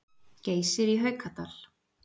Geysir í Haukadal.